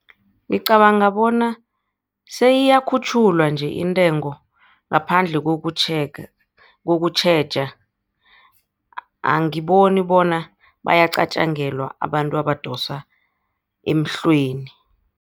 Ngicabanga bona seyiyakhutjhulwa nje intengo ngaphandle kokutjhega, kokutjheja angiboni bona bayacatjangelwa abantu abadosa emhlweni.